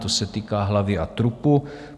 To se týká hlavy a trupu.